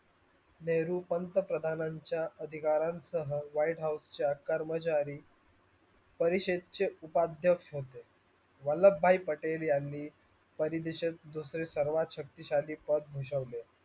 नेहरू पंतप्रधाच्या अधिकाराणसह white house च्या कर्मचारी परिषद चे उपाअधेकक्ष होते. वल्लभभाई पटेलयांनी परिदेसेत दुसरे सर्वात शक्तीसाली पद भुसवले.